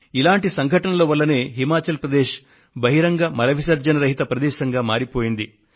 ఇటువంటి సంఘటనల వల్లనే హిమాచల్ ప్రదేశ్ బహిరంగ మల విసర్జన రహిత ప్రదేశంగా మారిపోయింది